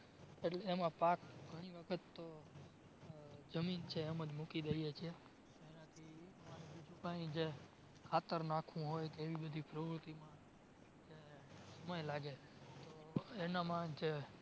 એમાં પાક ઘણી વખત તો જમીન છે એમ જ મૂકી દઈએ છે. એનાથી અમારે બીજું કાય ખાતર નાખવું હોય કે એવી બધી પ્રવૃતિમાં સમય લાગે છે એનામાં જે